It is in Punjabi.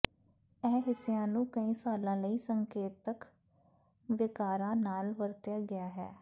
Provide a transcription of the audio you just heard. ਇਹ ਹਿੱਸਿਆਂ ਨੂੰ ਕਈ ਸਾਲਾਂ ਲਈ ਸੰਕੇਤਕ ਵਿਕਾਰਾਂ ਨਾਲ ਵਰਤਿਆ ਗਿਆ ਹੈ